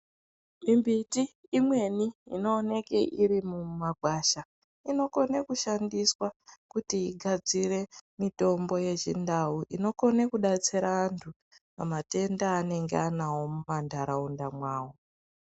Mimbiti imweni inooneke iri mumagwasha inokone kushandiswa kuti igadzire mitombo yechindau ikone kudetsera vantu pamatenda avanenge vanawo muma ntaraunda mwavo.